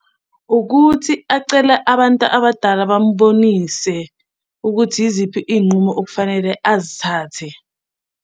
Ukuthi acele abantu abadala bamubonise ukuthi yiziphi iy'nqumo okufanele azithathe.